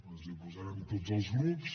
ens hi posarem tots els grups